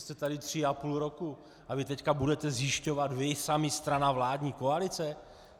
Jste tady tři a půl roku a vy teď budete zjišťovat, vy sami, strana, vládní koalice?